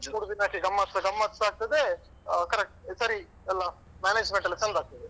ಮೂರು ದಿನಕ್ಕೆ ಗಮ್ಮತ್ ಗಮ್ಮತ್ಸ ಆಗ್ತದೆ ಅಹ್ correct ಸರಿ ಎಲ್ಲ management ಎಲ್ಲ ಚಂದ ಆಗ್ತದೆ.